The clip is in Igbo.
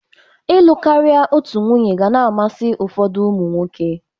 Ịlụ karị otu nwunye ga na-amasị ụfódụ ụmụ nwoke.